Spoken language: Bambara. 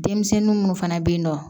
Denmisɛnnin munnu fana bɛ yen nɔ